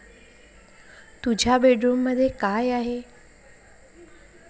तुझ्या बेडरूममध्ये काय आहे?